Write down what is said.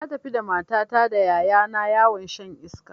Na tafi da matata da ƴaƴa na yawon shan iska